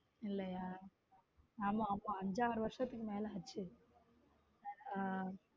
இல்லையா ஆமா ஆமா அஞ்சாறு வருஷத்துக்கு மேல பழசு ஹம்